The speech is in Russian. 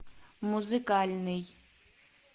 музыкальный